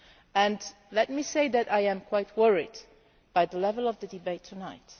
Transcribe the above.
And let me say that I am quite worried by the level of the debate tonight.